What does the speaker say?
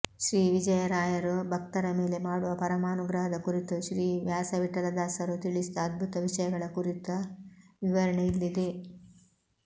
ಶ್ರೀ ವಿಜಯರಾಯರು ಭಕ್ತರ ಮೇಲೆ ಮಾಡುವ ಪರಮಾನುಗ್ರಹದ ಕುರಿತು ಶ್ರೀ ವ್ಯಾಸವಿಠಲದಾಸರು ತಿಳಿಸಿದ ಅದ್ಭುತ ವಿಷಯಗಳ ಕುರಿತ ವಿವರಣೆ ಇಲ್ಲಿದೆ